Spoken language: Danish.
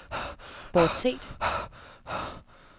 bortset